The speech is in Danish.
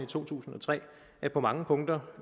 to tusind og tre er på mange punkter